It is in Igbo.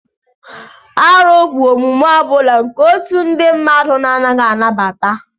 Árụ bụ omume ọ bụla nke otu ndị mmadụ na-anaghị anabata